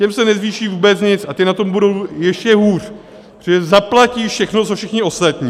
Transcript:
Těm se nezvýší vůbec nic a ti na tom budou ještě hůř, protože zaplatí všechno, co všichni ostatní.